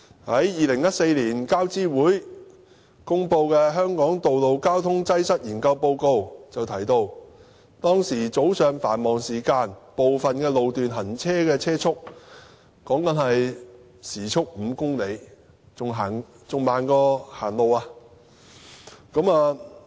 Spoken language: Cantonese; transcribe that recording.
在2014年，交通諮詢委員會公布的"香港道路交通擠塞研究報告"就提到，早上繁忙時間部分路段的行車速度是每小時5公里，比走路還慢。